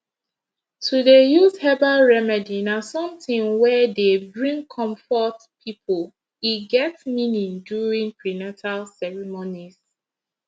to dey use herbal remedy na something wey dey bring comfort people e get meaning during prenata ceremonies